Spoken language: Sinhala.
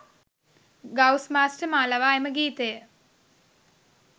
ගවුස් මාස්ටර් මා ලවා එම ගීතය